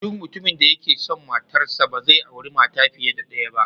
Duk mutumin da yake son matarsa, ba zai auri mata fiye da daya ba.